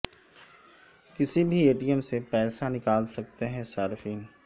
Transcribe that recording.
کسی بھی A T M سے پیسہ نکال سکتے ہیں صارفین